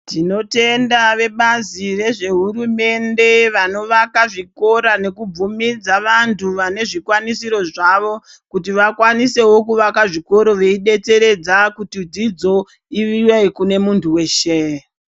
Tinotenda vebazi rezvehurumende vanovaka zvikora nekubvumidza vantu vane zvikwanisiro zvavo kuti vakwanisewo kuvaka zvikoro veibetseredza kuti dzidzo ive kune munhu weshe .